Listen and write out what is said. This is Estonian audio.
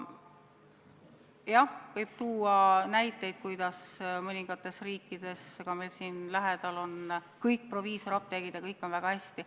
Jah, võib tuua näiteid, et mõningates riikides, ka meil siin lähedal, on kõik proviisoriapteegid ja kõik on väga hästi.